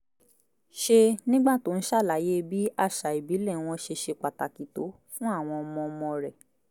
ṣe nígbà tó ń ṣàlàyé bí àṣà ìbílẹ̀ wọn ṣe ṣe pàtàkì tó fún àwọn ọmọ ọmọ rẹ̀